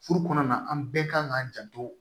Furu kɔnɔna na an bɛɛ kan k'an janto